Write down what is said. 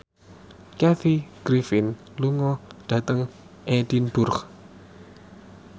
Kathy Griffin lunga dhateng Edinburgh